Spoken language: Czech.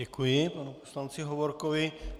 Děkuji panu poslanci Hovorkovi.